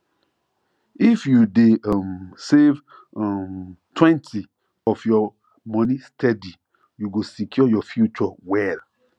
if you dey um save [um]twentyof your money steady you go secure your future well